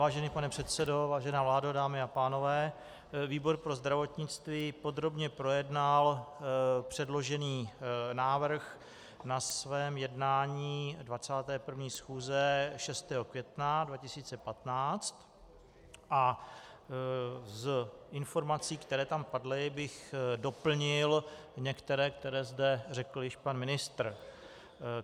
Vážený pane předsedo, vážená vládo, dámy a pánové, výbor pro zdravotnictví podrobně projednal předložený návrh na svém jednání 21. schůze 6. května 2015 a z informací, které tam padly, bych doplnil některé, které zde řekl již pan ministr.